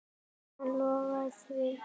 Hann lofaði því.